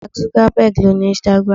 Mark Zuckerberg owns Instagram.